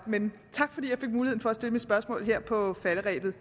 men tak fordi jeg fik mulighed for at stille mit spørgsmål her på falderebet